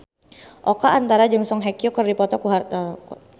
Oka Antara jeung Song Hye Kyo keur dipoto ku wartawan